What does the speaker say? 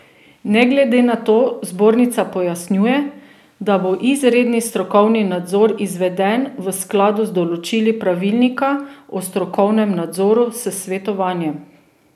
Ne glede na to, zbornica pojasnjuje, da bo izredni strokovni nadzor izveden v skladu z določili Pravilnika o strokovnemu nadzoru s svetovanjem.